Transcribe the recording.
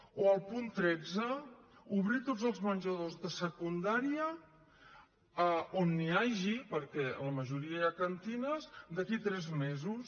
o el punt tretze obrir tots els menjadors de secundària on n’hi hagi perquè en la majoria hi ha cantines d’aquí a tres mesos